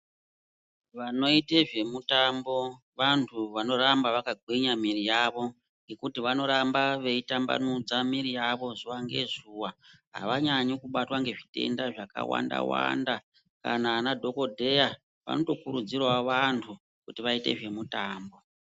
Vanoute zvemutambo vantu vanoramba vakagwinya muviri yavo nekuti vanoramba veitambanudza miviri yavo zuwa nezuva havanyanyi kubatwa nezvitenda zvakawanda wanda nyangwe kana vadhokodeya vanoto kuridzirawo vantu kuti vaite zvemutambo.